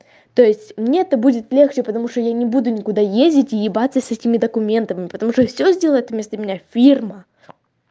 то есть мне это будет легче потому что я не буду никуда ездить и ебаться с этими документами потому что всё сделает вместо меня фирма